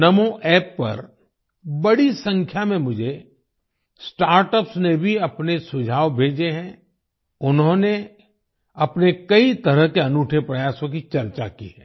नामो App पर बड़ी संख्या में मुझे स्टार्टअप्स ने भी अपने सुझाव भेजे हैं उन्होंने अपने कई तरह के अनूठे प्रयासों की चर्चा की है